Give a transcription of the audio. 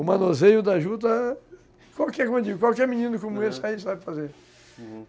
O manuseio da juta, qualquer menino como esse aí sabe fazer, uhum